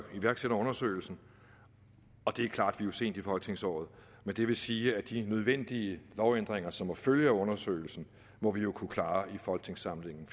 iværksætter undersøgelsen det er klart at vi er sent i folketingsåret men det vil sige at de nødvendige lovændringer som må følge af undersøgelsen må vi jo kunne klare i folketingssamlingen